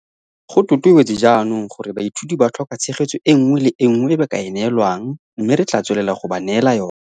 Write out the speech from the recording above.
Go totobetse jaanong gore baithuti ba tlhoka tshegetso e nngwe le e nngwe e ba ka e neelwang mme re tla tswelela go ba neela yona.